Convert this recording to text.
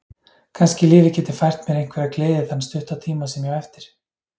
Kannski lífið geti fært mér einhverja gleði þann stutta tíma sem ég á eftir.